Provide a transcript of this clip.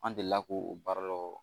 An delila k'o baara la